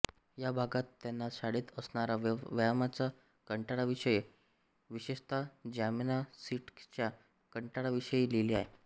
या भागात त्यांना शाळेत असणारा व्यायामाच्या कंटाळ्याविषयी विशेषतः जिमनॅॅसटिक्सच्या कंटाळ्याविषयी लिहिले आहे